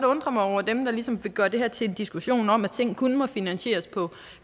undre mig over dem der ligesom vil gøre det her til en diskussion om at ting kun må finansieres på